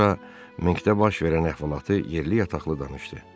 Sonra Minkdə baş verən əhvalatı yerli yataqlı danışdı.